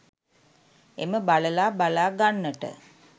එම බළලා බලා ගන්නට